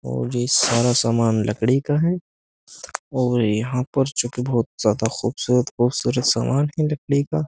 और ये सारा सामान लकड़ी का है और यहाँ पर जो कि बहुत ज्यादा खुबसूरत खुबसूरत सामान है लकड़ी का।